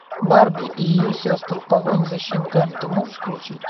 барби и ее сестры в погоне за щенками ты можешь включить